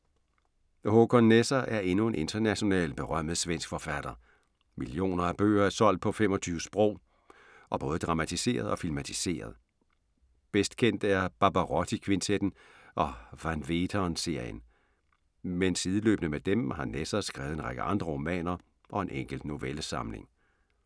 Håkan Nesser er endnu en internationalt berømmet svensk forfatter. Millioner af bøger er solgt på 25 sprog og både dramatiseret og filmatiseret. Bedst kendt er Barbarotti-kvintetten og Van Veeteren-serien. Men sideløbende med dem, har Nesser skrevet en række andre romaner og en enkelt novellesamling.